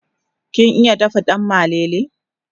kin iya dafa dan malele?